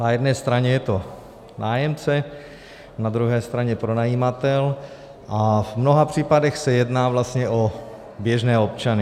Na jedné straně je to nájemce, na druhé straně pronajímatel a v mnoha případech se jedná vlastně o běžné občany.